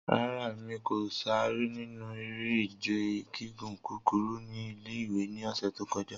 Rara, Emi ko sare ninu ere-ije gigun kukuru ni ile-iwe ni ọsẹ to kọja.